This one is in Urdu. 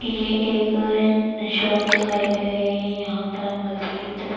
یہ ایک شاپ دکھائی دے رہی ہے۔ یہا پر مجید--